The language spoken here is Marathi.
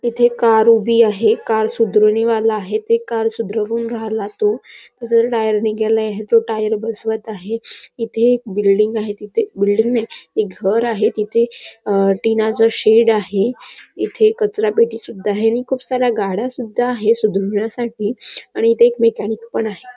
इथे कार उभी आहे कार सुधारुवाणीवाला आहे ते कार सुधरवूंन राहला तो त्याचा टायर निघालाय याच टायर बसवत आहे इथे एक बिल्डिंग आहे तिथे बिल्डिंग नाय एक घर आहे तिथे टिनाच शेड आहे इथे कचरा पेटी सुद्धा आहे आणि खूप साऱ्या गाड्या सुद्धा आहे सुद्रवीण्यासाठी आणि इथे एक मॅकॅनिक पण आहे.